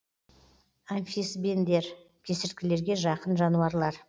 амфисбендер кесірткелерге жақын жануарлар